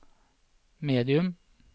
medium